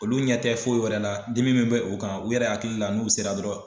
Olu ɲɛ tɛ foyi wɛrɛ la dimi min bɛ u kan u yɛrɛ hakili la n'u sera dɔrɔn